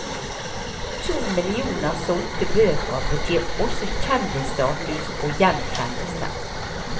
To millioner solgte bøker betyr også kjendisstatus og gjenkjennelse.